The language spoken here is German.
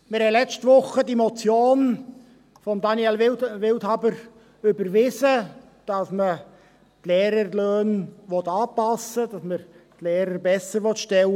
Wir haben letzte Woche die Motion von Daniel Wildhaber überwiesen, die verlangt, dass man die Lehrerlöhne anpasst und die Lehrer besserstellt.